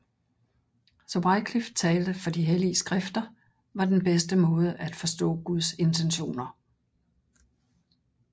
Wycliffe talte for de hellige skrifter var den bedste måde at forstå Guds intentioner